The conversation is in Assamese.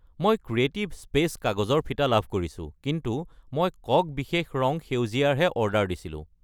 মই মোৰ বস্তুৰ তালিকাত 250 গ্ৰাম আৰ্থ'ন শুকান ক্ৰেনবেৰী ৰ উপৰিও 2 কিলোগ্ৰাম গ্ৰামী চুপাৰফুড চিয়া বীজ যোগ কৰিব বিচাৰো।